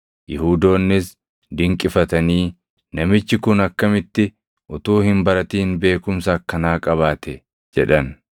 Yihuudoonnis dinqifatanii, “Namichi kun akkamitti utuu hin baratin beekumsa akkanaa qabaate?” jedhan.